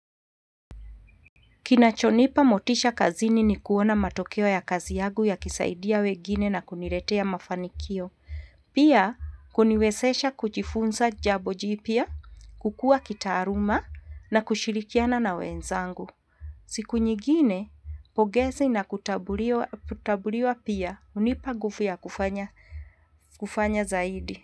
Kinachonipa motisha kazini ni kuona matokeo ya kazi yangu yakisaidia wengine na kuniletea mafanikio. Pia kuniwezesha kujifunza jambo jipya, kukua kitaaluma na kushirikiana na wenzangu. Siku nyingine, pongezi na kutabuliwa pia hunipa nguvu ya kufanya zaidi.